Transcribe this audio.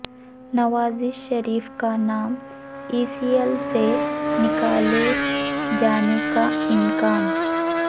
نواز شریف کا نام E C L سے نکالے جانے کا امکان